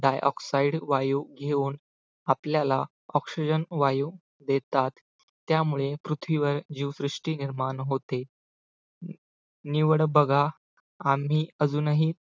dioxide वायू घेऊन आपल्याला oxygen वायू देतात त्यामुळे पृथ्वीवर जीवसृष्टी निर्माण होते निवड बघा आम्ही अजूनही